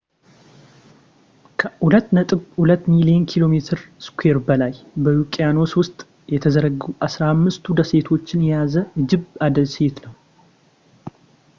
ከ2.2 ሚሊዮን ኪ.ሜ2 በላይ በውቅያኖስ ውስጥ የተዘረጉ 15ቱ ደሴቶችን የያዘ እጅብ ደሴት ነው